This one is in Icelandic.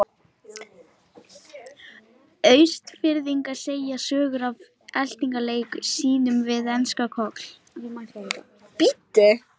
Austfirðing segja sögur af eltingaleik sínum við enska Koll.